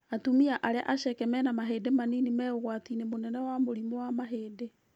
Atumia arĩa aceke na mena mahĩndĩ manini me ũgwati-inĩ mũnene wa mũrimũ wa mahĩndĩ